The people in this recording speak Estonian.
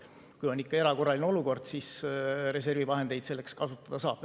Kui on ikka erakorraline olukord, siis reservi vahendeid selleks kasutada saab.